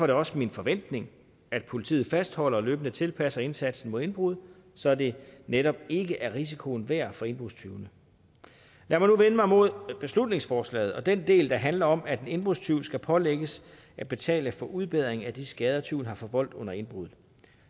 det også min forventning at politiet fastholder og løbende tilpasser indsatsen mod indbrud så det netop ikke er risikoen værd for indbrudstyvene lad mig nu vende mig mod beslutningsforslaget og den del der handler om at en indbrudstyv skal pålægges at betale for udbedring af de skader tyven har forvoldt under indbruddet